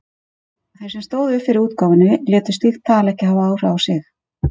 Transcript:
Þeir sem stóðu fyrir útgáfunni létu slíkt tal ekki hafa áhrif á sig.